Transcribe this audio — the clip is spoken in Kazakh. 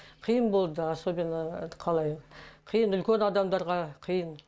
қиын болды особенно қалай қиын үлкен адамдарға қиын